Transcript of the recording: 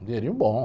Um dinheirinho bom.